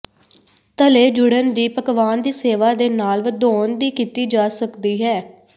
ਤਲੇ ਜੁੜਨ ਦੀ ਪਕਵਾਨ ਦੀ ਸੇਵਾ ਦੇ ਨਾਲ ਵਧਾਉਣ ਦੀ ਕੀਤੀ ਜਾ ਸਕਦੀ ਹੈ